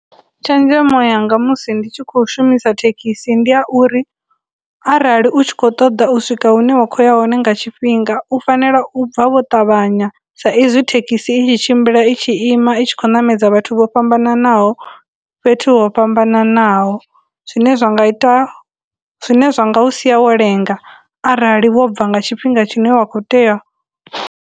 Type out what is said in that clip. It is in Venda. Tshenzhemo yanga musi ndi tshi khou shumisa thekhisi ndi ya uri, arali u tshi khou ṱoḓa u swika hune wa khou ya hone nga tshifhinga u fanela u bva wo ṱavhanya sa izwi thekhisi i tshi tshimbila i tshi ima i tshi khou ṋamedza vhathu vho fhambananaho, fhethu ho fhambananaho, zwine zwa nga ita, zwine zwa nga u sia wo lenga arali wo bva nga tshifhinga tshine wa khou tea .